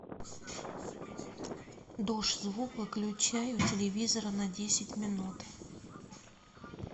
душ звук выключай у телевизора на десять минут